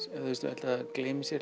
held það gleymi sér